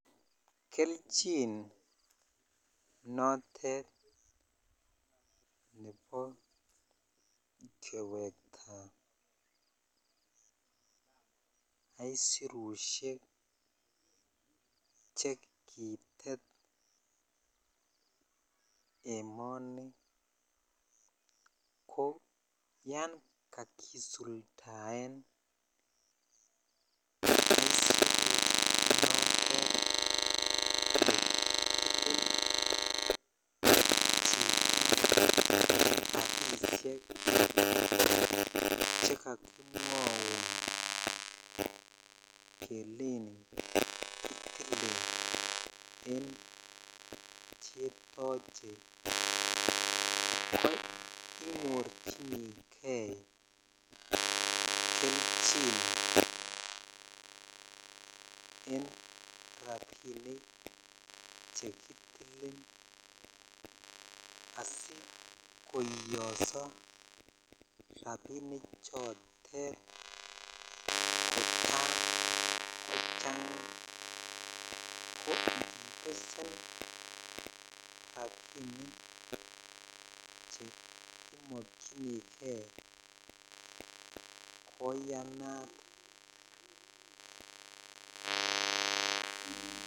Kelchin notet nebo kewektaa aisurushek chekitet emonii ko yan kakisuldaen chotet chito rabishek che kakimwaun kelchin kitilen en chetoche ko inyorchinikei kelchin en rabinik chekitilin asikoiyiso rabinik chotet kotaa kochangaa ko ibesen rabinik che imokyinikei koyanat.